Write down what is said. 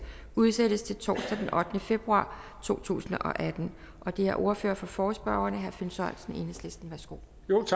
udsættes til torsdag den ottende februar to tusind og atten det er ordføreren for forespørgerne herre finn sørensen enhedslisten værsgo